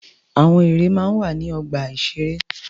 Àwọn ère máa ń wà ní ọgbà-ìṣeré.